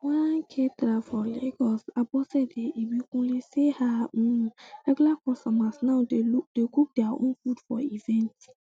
one um caterer for lagos abosede ibikunle say her um regular customers now dey cook dia own food for events